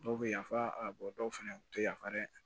Dɔw bɛ yafa a dɔw fana u tɛ yafa dɛ